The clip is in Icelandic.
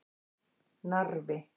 Narfi